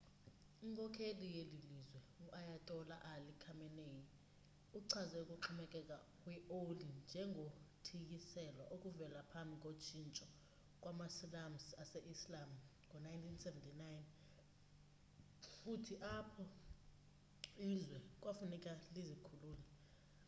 inkokheli yelilizwe u-ayatola ali khamenei uchaze ukuxhomekeka kwi oli njengo thiyiselwa okuvela phambhiko tshintsho kwamasilamusi ase-islam ngo1979 futhi apho izwe kwafuneka lizikhulule